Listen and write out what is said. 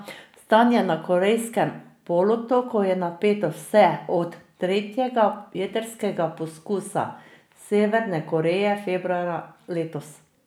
Stanje na Korejskem polotoku je napeto vse od tretjega jedrskega poskusa Severne Koreje februarja letos.